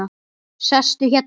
Sestu hérna.